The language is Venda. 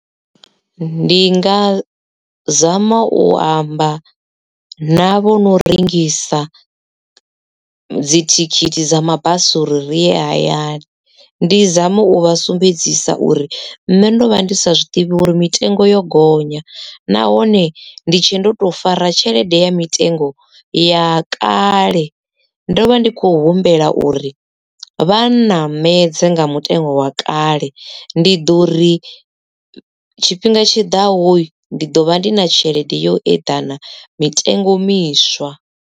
Ndi nga zama u amba na vho no rengisa dzithikhithi dza mabasi uri ri ye hayani ndi zame u vha sumbedzisa uri nṋe ndo vha ndi sa zwiḓivhi uri mitengo yo gonya nahone ndi tshe ndo to fara tshelede ya mitengo ya kale ndo vha ndi kho humbela uri vha ṋamedza nga mutengo wa kale ndi ḓo ri tshifhinga tshiḓaho ndi ḓo vha ndi na tshelede yo eḓana mitengo miswa.